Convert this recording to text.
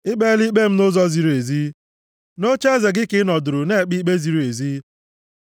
I kpeela ikpe m nʼụzọ ziri ezi, nʼocheeze gị ka ị nọdụrụ na-ekpe ikpe ziri ezi.